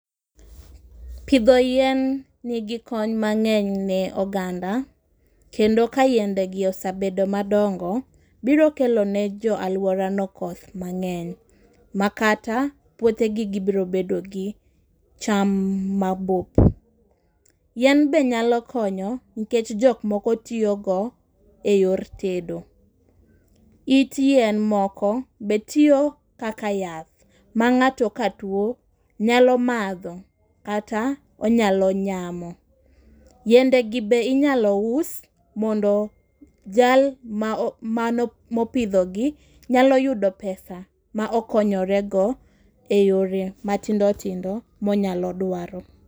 Pidho yien nigi kony mangény ne oganda. Kendo ka yiende gi osebedo madongo, biro kelo ne jo alworano koth mangény. Ma kata puothe gi, gibiro bedo gi cham mabup. Yien be nyalo konyo nikech jok oko tiyo go e yor tedo. It yien moko be tiyo kaka yath ma ngáto ka two, nyalo madho, kata onyalo nyamo. Yiende gi be inyalo us mondo jal ma mopidho gi nyalo yudo pesa ma okonyore go e yore matindo tindo ma onyalo dwaro.